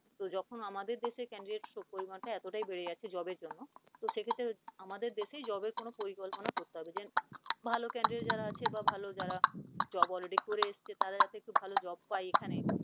তো যখন আমাদের দেশে candidate পরিমান টা এতটাই বেড়ে গেছে job এর জন্য তো সেক্ষেত্রে আমাদের দেশে job এর কোন পরিকল্পনা ভাল candidate যারা আছে বা ভাল যারা job already করে এসেছে তারা যাতে একটু ভাল job পায় এখানে